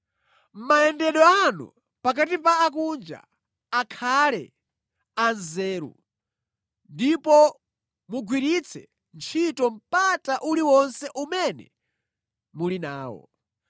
Mayendedwe anu pakati pa akunja, akhale anzeru ndipo mugwiritse ntchito mpata uliwonse umene muli nawo.